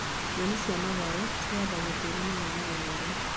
Nyeni cia matharũ cihandagwo tĩĩri-inĩ wĩna ũnoru